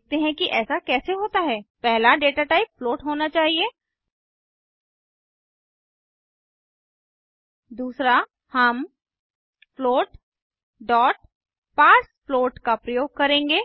देखते हैं कि ऐसा कैसे होता है पहला डेटा टाइप फ्लोट होना चाहिए दूसरा हम फ्लोट पार्सफ्लोट का प्रयोग करेंगे